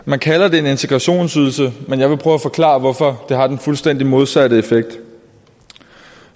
man kalder det en integrationsydelse men jeg vil prøve at forklare hvorfor det har den fuldstændig modsatte effekt